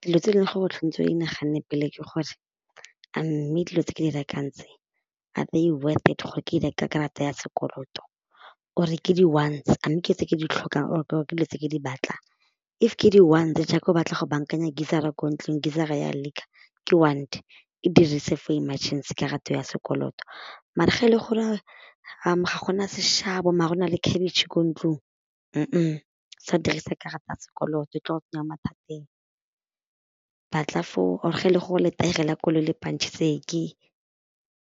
Dilo tse e leng gore o tshwanetse o inaganne pele ke gore a mme dilo tse ke di rekang tse are they worth it gore ke di reke ka karata ya sekoloto or-e ke di-wants a mme ke tse ke di tlhokang or ke dilo tse ke di batlang. If ke di-wants jaaka o batla go bankanya geyser-ra ko ntlong, geyser-ra ya leak-a ke want e dirise for emergency karata ya sekoloto, mare ga e le gore ga go na sešabo mare o na le khabetšhe ko ntlong, sa dirisa karata ya sekoloto e tlo go tsenya mathateng. Batla for or-e ge e le go letaere la koloi le pantšhitse ee